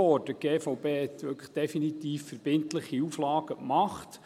Die GVB hat wirklich definitiv verbindliche Auflagen gemacht.